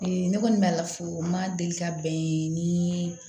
Ne kɔni b'a la fo n ma deli ka bɛn ni